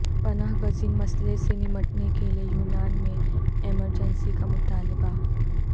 پناہ گزین مسئلہ سے نمٹنے کیلئے یونان میں ایمرجنسی کا مطالبہ